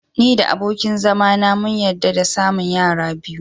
Ni da abokin zama na mun yarda da samun yara biyu.